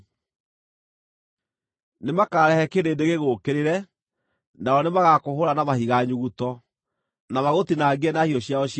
Nĩmakarehe kĩrĩndĩ gĩgũũkĩrĩre, nao nĩmagakũhũũra na mahiga nyuguto, na magũtinangie na hiũ ciao cia njora.